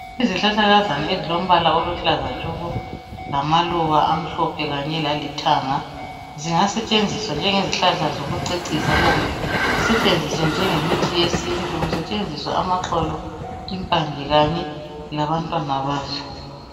Izihlahlakazana ezilombala oluhlaza tshoko lamaluba amhlophe kanye lalithanga, zingasetshenziswa njengezihlahla zokucecisa kumbe zisetshenziswe njengemithi yesintu kusetshenziswa amaxolo, impande kanye labantwana bazo.